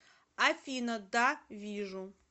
афина да вижу